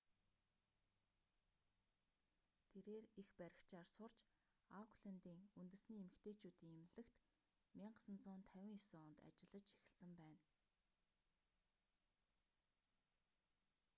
тэрээр эх баригчаар сурч ауклэндийн үндэсний эмэгтэйчүүдийн эмнэлэгт 1959 онд ажиллаж эхэлсэн байна